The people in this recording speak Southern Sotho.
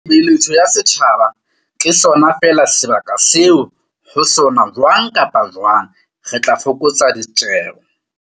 Beletso ya setjhaba ke sona feela sebaka seo ho sona jwang kapa jwang re tla fokotsa ditjeo.